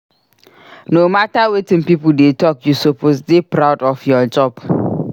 No matter wetin pipo dey talk you suppose dey proud of your job.